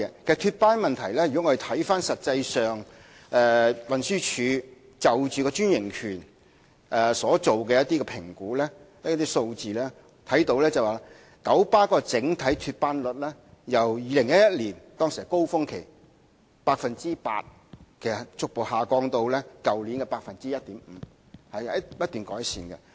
就脫班問題，如果我們看看運輸署就專營權所作的一些評估和數字，便會看到九巴的整體脫班率由2011年高峰期的 8% 逐步下降至去年的 1.5%， 是不斷改善的。